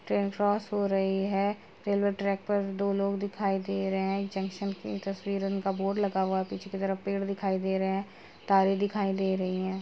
Train cross हो रही है। रैलवे ट्रैक पर दो लोग दिखाई दे रहे हैं। एक जंक्शन का बोर्ड लगा हुआ है पीछे की तरफ पेड़ दिखाई दे रहे हैं। तारे दिखाई दे रही हैं।